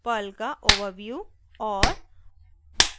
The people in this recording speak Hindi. पर्ल का overview और